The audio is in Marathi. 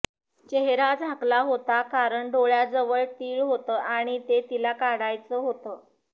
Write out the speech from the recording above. चेहरा झाकला होता कारण डोळ्याजवळ तिळ होतं आणि ते तिला काढायचं होतं